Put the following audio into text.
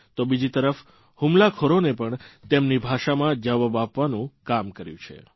તો બીજી તરફ હુમલાખોરોને પણ તેમની ભાષામાં જવાબ આપવાનું કામ કર્યું છે